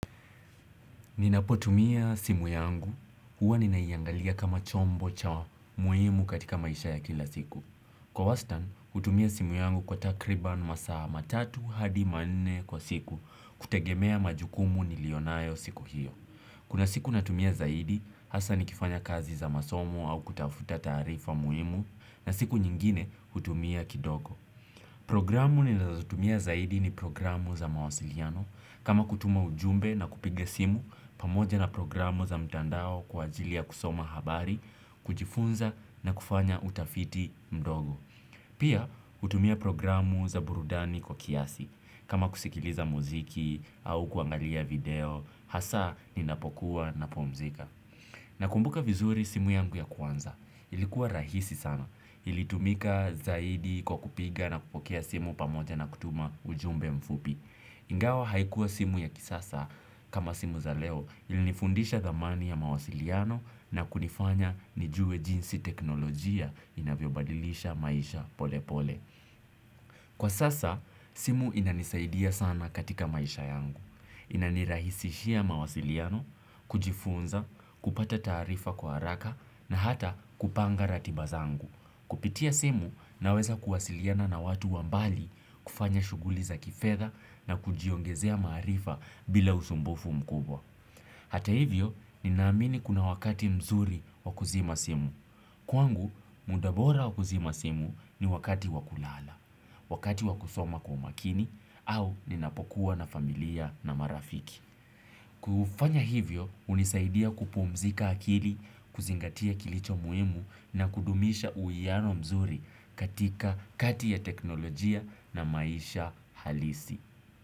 Ninapo tumia simu yangu, huwa ninaiangalia kama chombo cha muhimu katika maisha ya kila siku. Kwa wastan, hutumia simu yangu kwa takriban masaa matatu hadi manne kwa siku kutegemea majukumu niliyo nayo siku hiyo. Kuna siku natumia zaidi, hasa nikifanya kazi za masomo au kutafuta taarifa muhimu na siku nyingine hutumia kidogo. Programu ninazotumia zaidi ni programu za mawasiliano kama kutuma ujumbe na kupiga simu pamoja na programu za mtandao kwa ajili ya kusoma habari, kujifunza na kufanya utafiti mdogo. Pia hutumia programu za burudani kwa kiasi kama kusikiliza muziki au kuangalia video hasa ninapokuwa napumzika. Nakumbuka vizuri simu yangu ya kwanza. Ilikuwa rahisi sana. Ilitumika zaidi kwa kupiga na kupokea simu pamoja na kutuma ujumbe mfupi. Ingawa haikuwa simu ya kisasa kama simu za leo ilinifundisha thamani ya mawasiliano na kunifanya nijue jinsi teknolojia inavyobadilisha maisha pole pole kwa sasa, simu inanisaidia sana katika maisha yangu. Inanirahisishia mawasiliano, kujifunza, kupata taarifa kwa haraka na hata kupanga ratiba zangu. Kupitia simu naweza kuwasiliana na watu wa mbali kufanya shughuli za kifedha na kujiongezea maarifa bila usumbufu mkubwa hata hivyo, ninaamini kuna wakati mzuri wa kuzima simu. Kwangu, muda bora wa kuzima simu ni wakati wa kulala, wakati wa kusoma kwa makini au ninapokuwa na familia na marafiki. Kufanya hivyo, hunisaidia kupumzika akili, kuzingatia kilicho muhimu na kudumisha uiano mzuri katika kati ya teknolojia na maisha halisi.